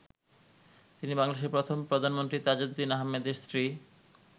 তিনি বাংলাদেশের প্রথম প্রধানমন্ত্রী তাজউদ্দিন আহমেদের স্ত্রী।